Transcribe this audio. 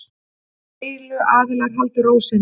Deiluaðilar haldi ró sinni